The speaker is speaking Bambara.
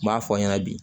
N b'a fɔ ɲɛna bi